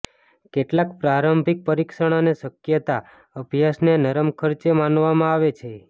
કેટલાક પ્રારંભિક પરીક્ષણ અને શક્યતા અભ્યાસને નરમ ખર્ચ માનવામાં આવે છે